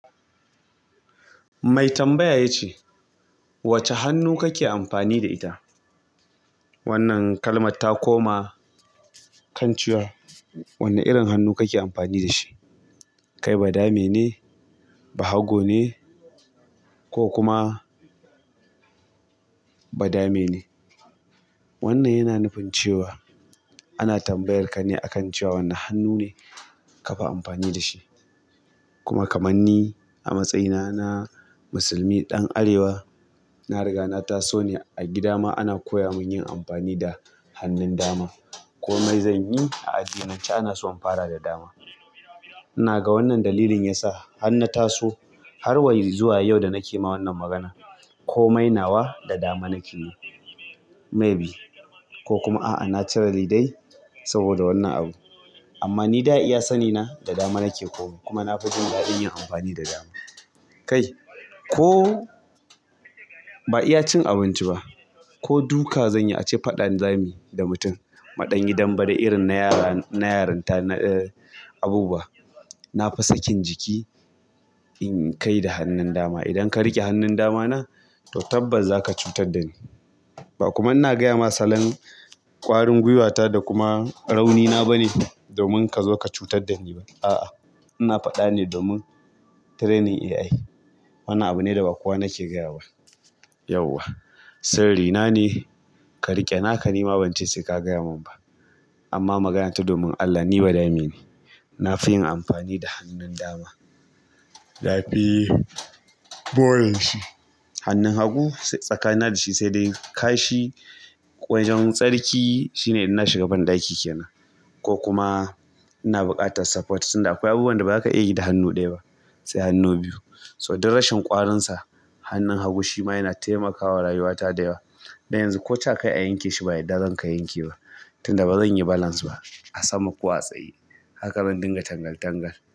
Mai tambaya ya ce, "Wace hannu kake amfani da ita?" Wannan kalmarta koma kan cewa, "Wane irin hannu kake amfani da shi? Kai ba dame ne? Bahago ne ko kuma bada me ne?" Wannan yana nufin cewa ana tambayar ka ne akan cewa wane hannu ne kafi amfani da shi. Kuma kamar ni a matsayina na musulmi ɗan arewa, na riga na taso ne a gida ma ana koya mun yin amfani da hannun dama. Ko mai zan yi a addinance ana so in fara da dama. ina ga wannan dalilin yasa har na taso har wa yan zuwa yau da nake ma wannan magana ko mai nawa da dama nake yi. Maybe ko kuma a'a naturally dai saboda wannan abu. Amma ni dai a iya sani na da dama nake ko kuma na fi jin daɗin yin amfani da dama. Kai ko ba iya cin abinci ba ko duka zan yi ace faɗa zamu yi da mutum. Muɗanyi dambe de irin na yara-- na yarinta na, eh abubuwa. Na fi sakin jiki in kai da hannun dama. Idan ka riƙe hannun dama na to tabbas za ka cutar da ni. Ba kuma ina gaya ma salon ƙwarin gwiwata da kuma rauni na bane domin ka zo ka cutar da ni ba. A'a, ina faɗa ne domin training AI. Wannan abu ne da ba kowa nake gayawaba. Yauwa sirri na ne ka riƙe naka nima ban ce sai ka gaya mun ba. Amma maganata domin Allah ni bada me ne. Na fi yin amfani da hannun dama. Na fi moreshi. Hannun hagu tsakanina da shi sai dai kashi wajen tsarki shine in na shiga banɗaki ke nan ko kuma ina buƙatar support. Tunda akwai abubu wanda ba za ka iya yi da hannu ɗaya ba sai hannu biyu. So duk rashin ƙwarinsa hannun hagu shi ma yana taimakawa rayuwata da yawa. Dan yanzu koca kai a yanke shi ba yadda zan ka yanke ba. Tunda bazan yi balance ba a sama ko a tsaye. Haka zan dinga tangal tangal.